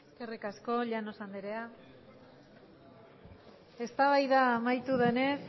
eskerrik asko llanos andrea eztabaida amaitu denez